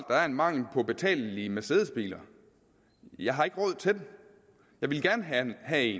der er en mangel på betalelige mercedesbiler jeg har ikke råd til dem jeg ville gerne have